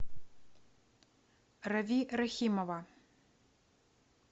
рави рахимова